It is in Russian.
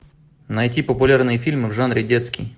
найти популярные фильмы в жанре детский